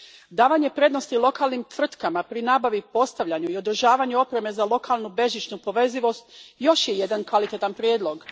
Davanje prednosti lokalnim tvrtkama pri nabavi, postavljanju i održavanju opreme za lokalnu bežičnu povezivost još je jedan kvalitetan prijedlog.